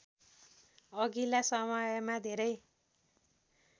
अघिल्ला समयमा धेरै